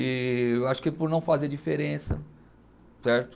E eu acho que por não fazer diferença, certo?